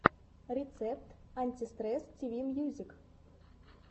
рецепт антистресс тиви мьюзик